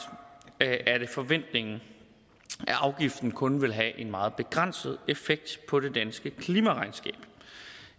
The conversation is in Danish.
er det forventningen at afgiften kun vil have en meget begrænset effekt på det danske klimaregnskab